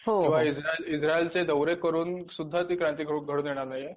किंवा इझ्राएल इझ्रायलचे दौरे करून सुद्धा क्रांती घडून येणार नाही.